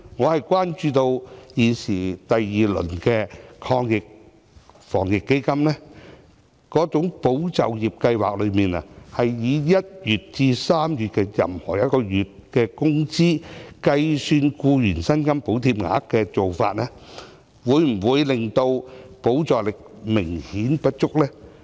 我關注到第二輪的防疫抗疫基金的"保就業"計劃，是以1月至3月任何一個月的員工工資來計算僱員薪金補貼額，這做法會否令補助力度明顯不足？